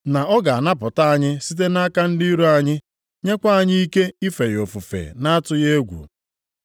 Na ọ ga-anapụta anyị site nʼaka ndị iro anyị, nyekwa anyị ike ife ya ofufe na-atụghị egwu.